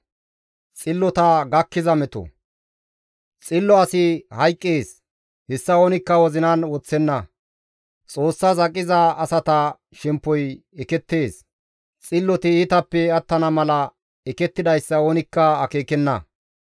Xillo asi hayqqees; hessa oonikka wozinan woththenna; Xoossaas aqiza asata shemppoy ekettees; xilloti iitappe attana mala ekettidayssa oonikka akeekenna.